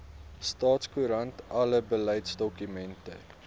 staatskoerant alle beleidsdokumente